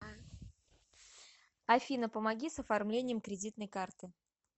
афина помоги с оформлением кредитной карты